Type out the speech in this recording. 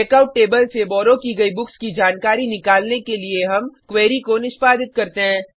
checkout table से borrow की गयी बुक्स की जानकारी निकालने के लिए हम क्वेरी को निष्पादित करते हैं